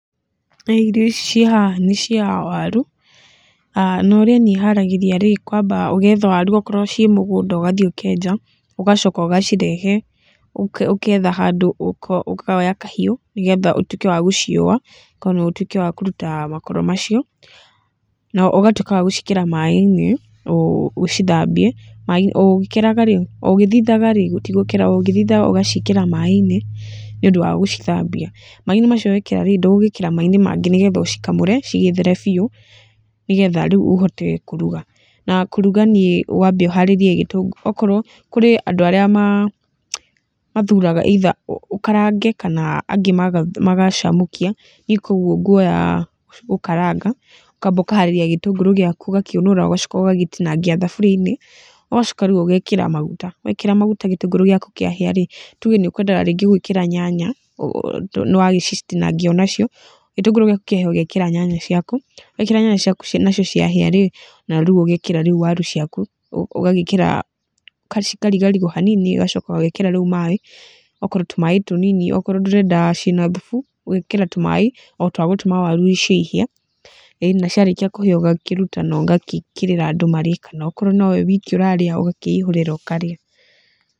Irio ici ciĩ haha nĩ cia waru [ah]na ũrĩa niĩ haragĩria rĩ ;kũamba ũgetha warũ okorwo ciĩ mũgũnda ũgathiĩ ũkenja ũgacoka ũgacirehe ũgetha handũ ũkoya kahiũ nĩgetha ũtũĩke wa gũciũa kana ũtũĩke wa kũrũta makoro macio na ũgatũĩka wa gũciĩkĩra maa~inĩ ũcithambie o ũgĩthigaga ũga ciĩkĩra maaĩ~inĩ nĩũndũ wa gũcithambia. Maĩ~inĩ macio wekĩra rĩ ,ũgũgĩkĩra maaĩ~inĩ mangĩ nĩ getha ũcikamũre ci gĩthere biũ nĩ getha riũ ũhote kũruga. Na kũruga niĩ kũrĩ andũ arĩa mathũraga eĩther ũkarange kana angĩ magacamũkia. Niĩ kogwo ngũoya gũkaranga, ũkamba ũkaharĩria gĩtũngũrũ gĩakũ ũgakĩũnũra ũgacoka ũgagĩtinangĩa thabũrĩa~inĩ ũgacoka rĩũ ũgekĩra maguta. Wekĩra maguta gĩtũngũrũ gĩaku kĩa hĩa rĩ, tũge nĩũkũendaga rĩngĩ gũĩkĩra nyanya, nĩ wagĩcĩtinangĩa ona cio. Gĩtũngũrũ gĩakũ kĩa hĩa ũgekĩra nyanya ciaku. Wekĩra nyanya ciaku na cio cia hĩa rĩ na rĩũ ũgekĩra rĩũ warũ cĩakũ cĩkarigarigwo hanini ũgacoka ũgekĩra rĩũ maaĩ .Tũ maaĩ tũnini okorwo ndũrenda ciĩ na thubu ũgekĩra tũ maaĩ otwagũtũma warũ icio ĩhĩe na cia rĩkia kũhĩa ũgakĩrũta na ũgekĩrĩra andũ marĩe kana okorwo nowe wiki ũrarĩa ũga kĩ ihũrĩra ũkarĩa.